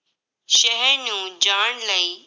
ਸ਼ਹਿਰ ਨੂੰ ਜਾਣ ਲਈ